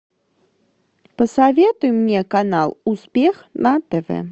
посоветуй мне канал успех на тв